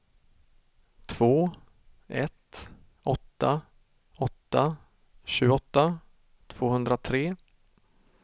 två ett åtta åtta tjugoåtta tvåhundratre